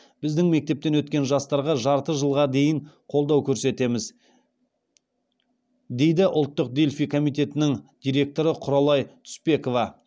біздің мектептен өткен жастарға жарты жылға дейін қолдау көрсетеміз дейді ұлттық дельфий комитетінің директоры құралай түспекова